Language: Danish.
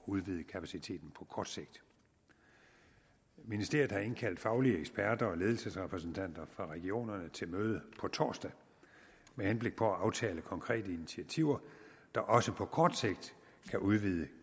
udvide kapaciteten på kort sigt ministeriet har indkaldt faglige eksperter og ledelsesrepræsentanter for regionerne til møde på torsdag med henblik på at aftale konkrete initiativer der også på kort sigt kan udvide